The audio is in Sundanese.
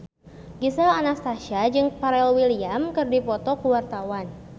Gisel Anastasia jeung Pharrell Williams keur dipoto ku wartawan